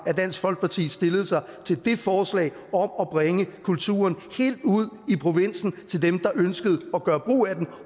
dansk folkeparti stillede sig til det forslag om at bringe kulturen helt ud i provinsen til dem der ønskede at gøre brug af den